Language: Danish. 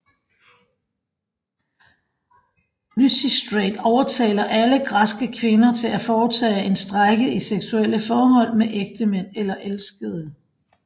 Lysistrate overtaler alle græske kvinder til at foretage en strejke i sexuelle forhold med ægtemænd eller elskere